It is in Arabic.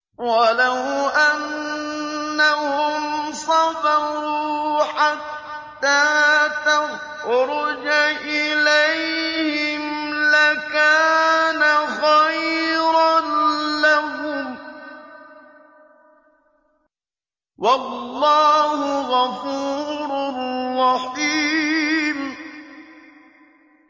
وَلَوْ أَنَّهُمْ صَبَرُوا حَتَّىٰ تَخْرُجَ إِلَيْهِمْ لَكَانَ خَيْرًا لَّهُمْ ۚ وَاللَّهُ غَفُورٌ رَّحِيمٌ